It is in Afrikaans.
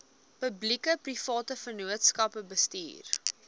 publiekeprivate vennootskappe bestuur